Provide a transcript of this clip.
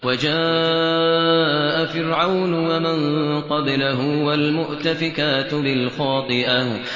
وَجَاءَ فِرْعَوْنُ وَمَن قَبْلَهُ وَالْمُؤْتَفِكَاتُ بِالْخَاطِئَةِ